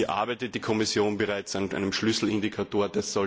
Hier arbeitet die Kommission bereits an einem Schlüsselindikator.